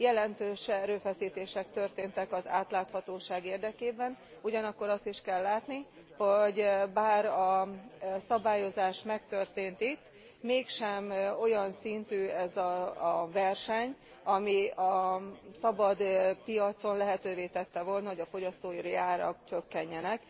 Jelentős erőfeszítések történtek az átláthatóság érdekében, ugyanakkor azt is kell látni, hogy bár a szabályozás megtörtént itt, mégsem olyan szintű ez a verseny, ami a szabad piacon lehetővé tette volna, hogy a fogyasztói árak csökkenjenek.